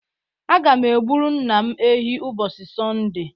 Aga m egburu nna m ehi ubosi Sọnde